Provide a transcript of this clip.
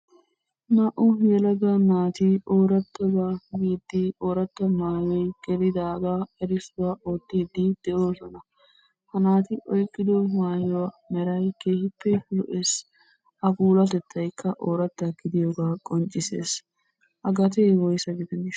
Naa"u yelaga naati oorataba hanidi, oorataa maayiyo gelidaaga erissuwaa oottide de'oosona. Ha naati oykkido maayuwa meray keehippe lo"eess. A puulatettaykka oorataa gidiyooga qonccissees. A gate woyssa gidaneshsha?